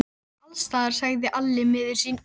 Hann pissar allsstaðar, sagði Alli miður sín.